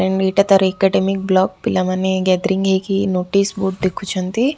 ମ ଏଇଟା ତାର ଏକାଡେମିକ ବ୍ଲକ ପିଲାମାନେ ଗେଦେରିଂ ହେଇକି ନୋଟିସ ବୋର୍ଡ ଦେଖୁଛନ୍ତି।